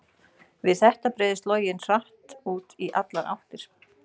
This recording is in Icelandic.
Við þetta breiðist loginn hratt út í allar áttir.